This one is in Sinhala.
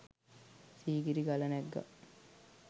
සීගිරි ගල නැග්ගා